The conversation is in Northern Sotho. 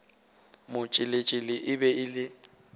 motšheletšhele e be e le